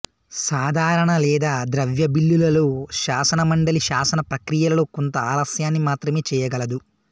సాధారణ లేదా ద్రవ్య బిల్లులలో శాసనమండలి శాసన ప్రక్రియలో కొంత ఆలస్యాన్ని మాత్రమే చేయగలదు